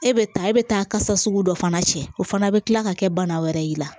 E bɛ taa e bɛ taa kasa sugu dɔ fana cɛ o fana bɛ tila ka kɛ bana wɛrɛ y'i la